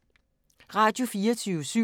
Radio24syv